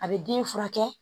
A bɛ den furakɛ